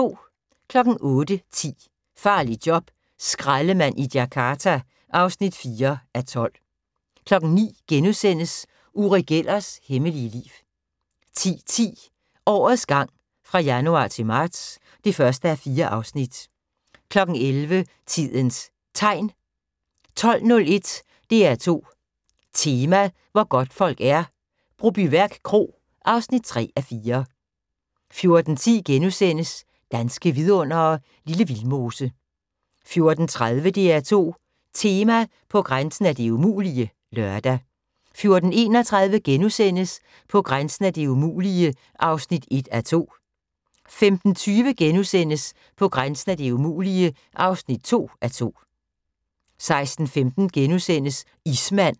08:10: Farligt job - skraldemand i Jakarta (4:12) 09:00: Uri Gellers hemmelige liv * 10:10: Årets gang fra januar til marts (1:4) 11:00: Tidens Tegn 12:01: DR2 Tema: Hvor godtfolk er - Brobyværk Kro (3:4) 14:10: Danske Vidundere: Lille Vildmose * 14:30: DR2 Tema: På grænsen af det umulige (lør) 14:31: På grænsen af det umulige (1:2)* 15:20: På grænsen af det umulige (2:2)* 16:15: Ismand *